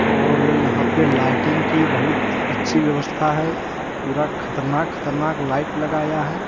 और यहाँ पे लाइटिंग की बहुत अच्छी व्यवस्था है पूरा खतरनाक खतरनाक लाइट लगाया है।